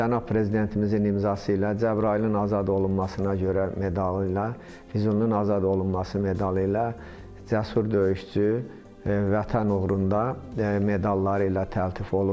Cənab prezidentimizin imzası ilə Cəbrayılın azad olunmasına görə medalı ilə, Füzulinin azad olunması medalı ilə cəsur döyüşçü Vətən uğrunda medalları ilə təltif olunub.